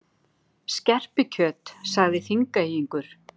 Skerpikjöt, sagði Þingeyingur.